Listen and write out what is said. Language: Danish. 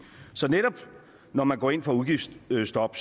så netop når man går ind for udgiftsstop